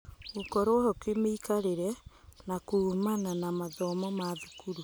Gũkorwo-ho kĩmĩikarĩre na kuumana na mathomo ma thukuru